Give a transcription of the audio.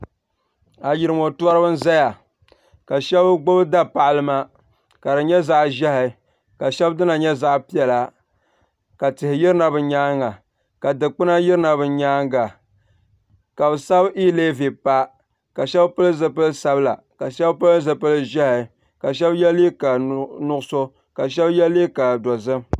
Ayirimo torila n zaya ka sheba gbibi da paɣalima ka di nyɛ zaɣa ʒehi ka sheba dina nyɛ zaɣa piɛla ka tihi yirina bɛ nyaanga ka dikpina yirina bɛ nyaanga ka bɛ sabi yiilevi pa ka sheba pili zipil'sabila ka sheba pili 'ʒehi ka sheba yw liiga nuɣuso ka sheba ye liiga dozim.